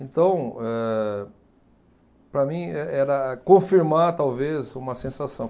Então, eh para mim, e era confirmar, talvez, uma sensação.